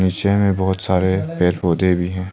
Picture में बहोत सारे पेड़ पौधे भी हैं।